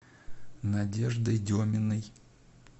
надеждой деминой